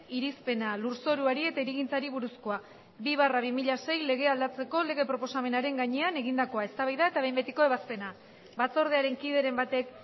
irizpena lurzoruari eta hirigintzari buruzkoa bi barra bi mila sei legea aldatzeko lege proposamenaren gainean egindakoa eztabaida eta behin betiko ebazpena batzordearen kideren batek